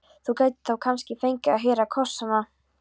Þú gætir þá kannski fengið að heyra kossana.